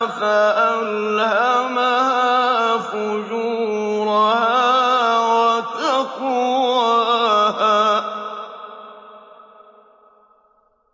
فَأَلْهَمَهَا فُجُورَهَا وَتَقْوَاهَا